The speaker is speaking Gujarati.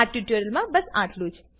આ ટ્યુટોરીયલમાં બસ આટલું જ